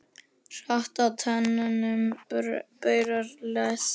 Hratt á teinum brunar lest.